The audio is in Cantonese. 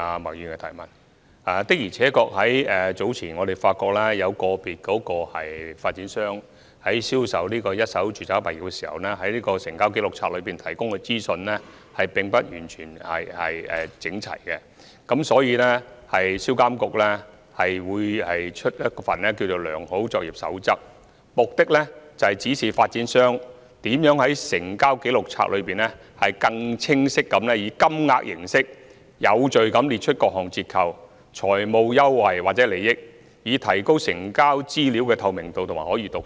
我們早前的確發現，有個別發展商在銷售一手住宅物業時，在成交紀錄冊提供的資訊並不完全整齊，所以，銷監局會發出一份《良好作業守則》，目的是指示發展商如何在成交紀錄冊中，更清晰地以金額形式，有序地列出各項折扣、財務優惠或利益，以提高成交資料的透明度和可閱讀性。